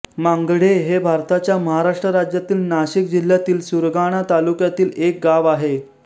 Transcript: मांगढे हे भारताच्या महाराष्ट्र राज्यातील नाशिक जिल्ह्यातील सुरगाणा तालुक्यातील एक गाव आहे